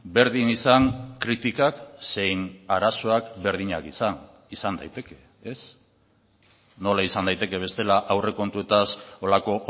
berdin izan kritikak zein arazoak berdinak izan izan daiteke ez nola izan daiteke bestela aurrekontuetaz horrelako